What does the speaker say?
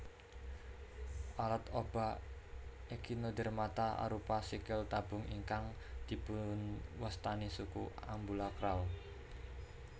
Alat obah Echinodermata arupa sikil tabung ingkang dipunwastani suku ambulakral